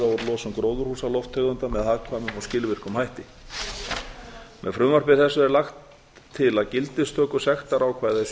og draga úr losun gróðurhúsalofttegunda með hagkvæmum og skilvirkum hætti með frumvarpi þessu er lagt til að gildistöku sektarákvæða